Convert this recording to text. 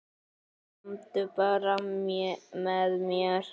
Komdu bara með mér.